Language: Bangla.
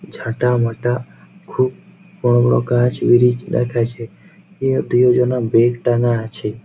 ঝাঁটা মাটা খুব বড়ো বড়ো গাছ ব্রিজ লেখা আছে এ দুজনার বেগ টানা আছে।